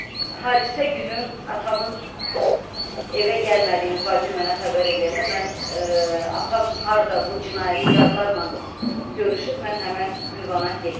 Hadisə günü atamın evə gəlmədiyini bacım mənə xəbər eləyəndə mən atam harda bu cinayətkarlarla görüşüb, mən həmən ünvana getdim.